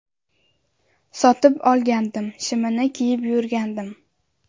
Sotib olgandim, shimini kiyib yurgandim.